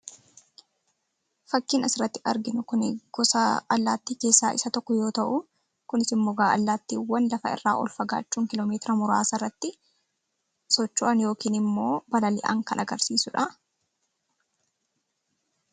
Fakkiin asirratti arginu kun gosa allaattii keessaa isa tokko yoo ta’u, kunis immoo allaattiiwwan lafa irraa ol fagaachuun socho'an yookiin immoo balali'an kan agarsiisudha.